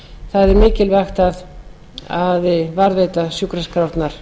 það er mikilvægt að varðveita sjúkraskrárnar